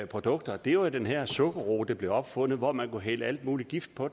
produkter er jo den her sukkerroe der blev opfundet hvor man kunne hælde al mulig gift på